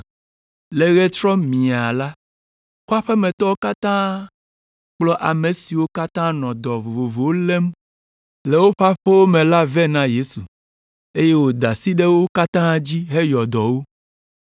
Le ɣetrɔ miaa la, kɔƒea me tɔwo katã kplɔ ame siwo katã nɔ dɔ vovovowo lém le woƒe aƒewo me la vɛ na Yesu, eye wòda asi ɖe wo katã dzi heyɔ dɔ wo.